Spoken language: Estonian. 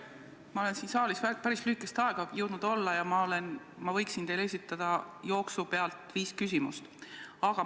Ma olen jõudnud siin saalis päris lühikest aega olla ja ma võiksin teile jooksu pealt viis küsimust esitada.